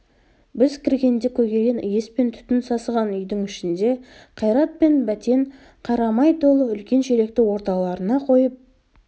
біз кіргенде көгерген иіс пен түтін сасыған үйдің ішінде қайрат пен бәтен қарамай толы үлкен шелекті орталарына қойып